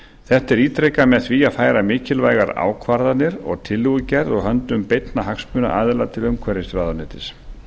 þetta er ítrekað með því að færa mikilvægar ákvarðanir og tillögugerð úr höndum beinna hagsmunaaðila til umhverfisráðuneytis